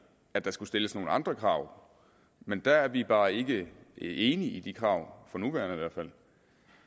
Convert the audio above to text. at der skulle stilles nogle andre krav men der er vi bare ikke enige i de krav ikke for nuværende